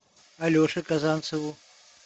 алеше казанцеву